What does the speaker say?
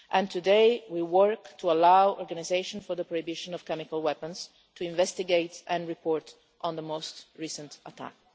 Today we are working to enable the Organisation for the Prohibition of Chemical Weapons to investigate and report on the most recent attack.